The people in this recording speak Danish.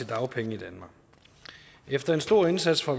dagpenge i danmark efter en stor indsats fra